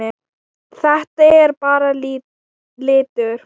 Þetta er bara litur.